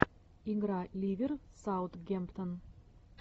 игра ливер саутгемптон